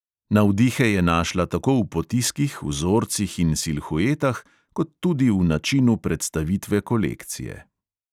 Navdihe je našla tako v potiskih, vzorcih in silhuetah, kot tudi v načinu predstavitve kolekcije.